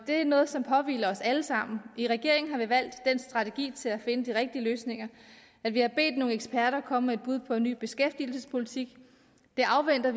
det er noget som påhviler os alle sammen i regeringen har vi valgt den strategi til at finde de rigtige løsninger at vi har bedt nogle eksperter komme med et bud på en ny beskæftigelsespolitik vi afventer